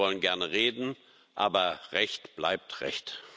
Wir wollen gerne reden, aber Recht bleibt Recht.